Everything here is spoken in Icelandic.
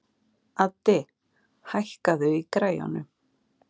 Addi, hækkaðu í græjunum.